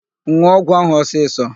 N̄ụọ ọgwụ ahụ ọsịsọ!